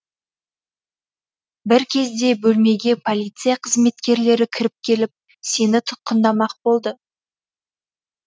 бір кезде бөлмеге полиция қызметкерлері кіріп келіп сені тұтқындамақ болды